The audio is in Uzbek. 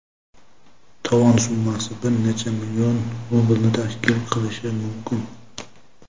Tovon summasi bir necha million rublni tashkil qilishi mumkin.